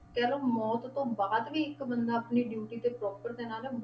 ਕਹਿ ਲਓ ਮੌਤ ਤੋਂ ਬਾਅਦ ਵੀ ਇੱਕ ਬੰਦਾ ਆਪਣੀ duty ਤੇ proper ਤੈਨਾਤ ਹੈ,